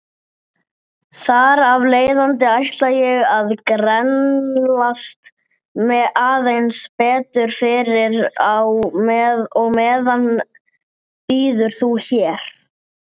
Þjáning og þögult óp!